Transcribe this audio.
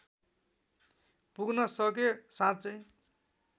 पुग्न सके साँच्चै